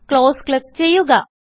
close click ചെയ്യുക